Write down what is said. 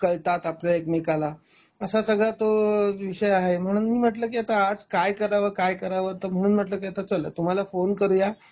कळतात आपल्या एकमेकाला असा सगळा तो विषय आहे म्हणून मी म्हणल की आज काय कराव, काय कराव म्हणून म्हणल की चला आता तुम्हाला फोन करूया